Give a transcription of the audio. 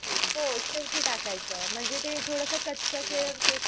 हो शेवटी टाकायचं म्हणजे ते थोडस कच्च केळ ते